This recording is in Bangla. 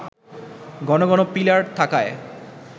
ঘন ঘন পিলার থাকায়